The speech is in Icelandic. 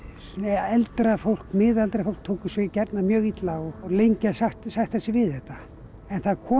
eldra fólk miðaldra fólk tók þessu gjarnan mjög illa og lengi að sætta sig við þetta en það kom